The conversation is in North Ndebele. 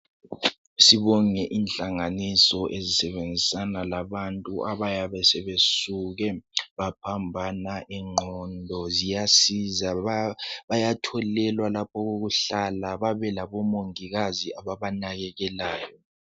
Sibonge inhlanganiso ezisebenzisana labantu abayabe sebesuke baphambana ingqondo ziyasiza bayatholelwa lapha okokuhlala babelabo mongikazi ababanakekelayo.